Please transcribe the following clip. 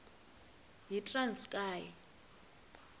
yitranskayi